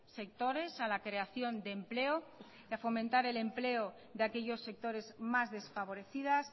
sectores a la creación de empleo y a fomentar el empleo de aquellos sectores más desfavorecidas